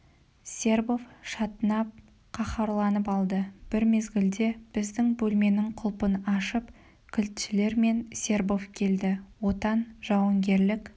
сербов шатынап қаһарланып алды бір мезгілде біздің бөлменің құлпын ашып кілтшілер мен сербов келді отан жауынгерлік